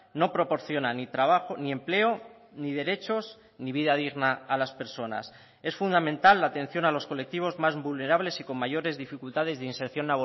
no proporciona ni trabajo ni empleo ni derechos ni vida digna a las personas es fundamental la atención a los colectivos más vulnerables y con mayores dificultades de inserción